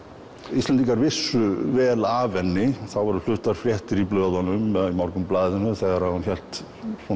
Íslendingar vissu vel af henni þá voru fluttar fréttir í blöðunum til Morgunblaðinu þegar hún hélt